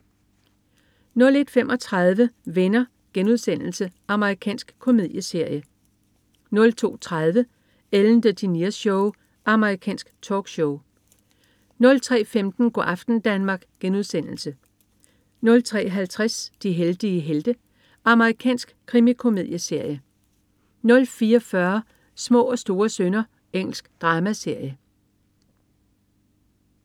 01.35 Venner.* Amerikansk komedieserie 02.30 Ellen DeGeneres Show. Amerikansk talkshow 03.15 Go' aften Danmark* 03.50 De heldige helte. Amerikansk krimikomedieserie 04.40 Små og store synder. Engelsk dramaserie